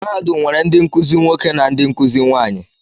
Mahadum nwere ndị nkuzi nwoke na ndị nkuzi nwaanyị.